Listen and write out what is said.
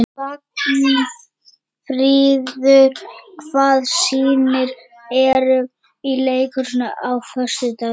Vagnfríður, hvaða sýningar eru í leikhúsinu á föstudaginn?